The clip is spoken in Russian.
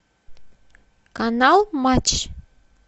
канал матч